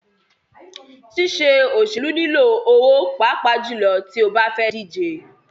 Ṣíṣe òṣèlú nilò owó pàápàá jùlọ tí o bá fẹ́ díje.